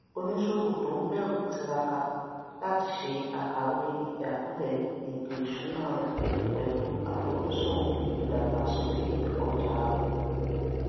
oníṣòwò ton bẹrù tiraka láti se àkàwé ìjákulè ètò ìṣúná rẹ pẹlú àfojúsùn ìdàgbàsókè ọjà rẹ